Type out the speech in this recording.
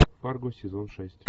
фарго сезон шесть